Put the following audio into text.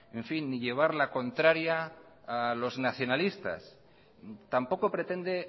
ni llevar la contraria a los nacionalistas tampoco pretende